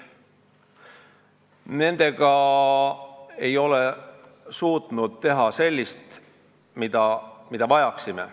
Nendega ei ole suudetud teha midagi sellist, mida me vajame.